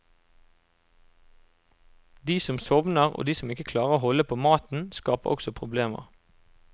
De som sovner og de som ikke klarer å holde på maten, skaper også problemer.